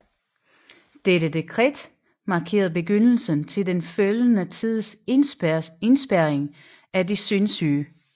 Dette dekret markerede begyndelsen til den følgende tids indespærring af de sindssyge